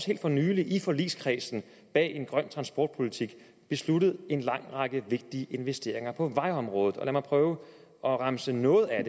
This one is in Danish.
helt for nylig i forligskredsen bag en grøn transportpolitik besluttet en lang række vigtige investeringer på vejområdet lad mig prøve at remse nogle af